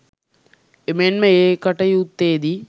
එමෙන්ම ඒ කටයුත්තේදී